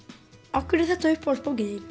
af hverju er þetta uppáhaldsbókin þín